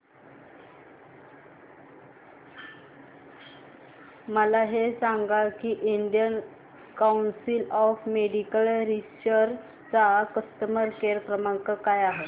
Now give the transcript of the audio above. मला हे सांग की Indian council of medical research चा कस्टमर केअर क्रमांक काय आहे